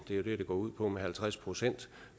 det det går ud på med halvtreds procent